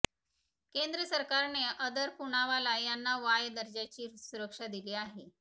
केंद्र सरकारने अदार पूनावाला यांना वाय दर्जाची सुरक्षा दिली आहे